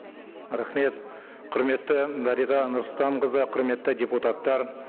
рахмет құрметті дариға нұрсұлтанқызы құрметті депутаттар